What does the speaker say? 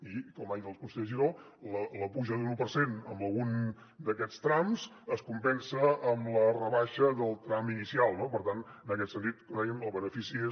i com ha dit el conseller giró la puja d’un u per cent en algun d’aquests trams es compensa amb la rebaixa del tram inicial no per tant en aquest sentit com dèiem el benefici és